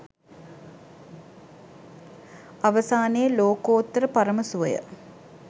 අවසානයේ ලෝකෝත්තර පරම සුවය